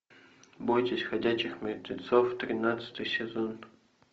бойтесь ходячих мертвецов тринадцатый сезон